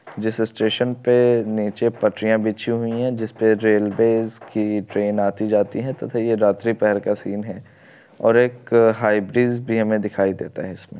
जैस स्टेशन पे नीचे पटरिया बिछी हुई है जिसपे रेलवेज की ट्रेन आती जाती है। तथा ये रात्री पहर का सीन है और एक हाइ ब्रिज भी हमे दिखाई देता है इसमे।